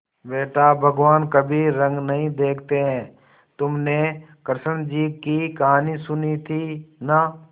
बेटा भगवान कभी रंग नहीं देखते हैं तुमने कृष्ण जी की कहानी सुनी थी ना